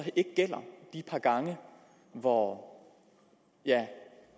ikke par gange hvor ja